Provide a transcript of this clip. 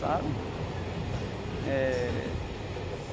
Sabe? Eh.